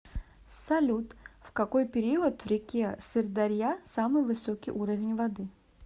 салют в какой период в реке сырдарья самый высокий уровень воды